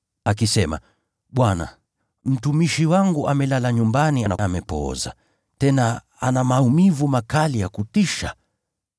akisema, “Bwana, mtumishi wangu amelala nyumbani na amepooza, tena ana maumivu makali ya kutisha.”